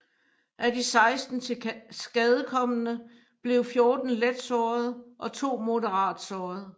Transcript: Af de 16 tilskadekomne blev 14 let såret og to moderat såret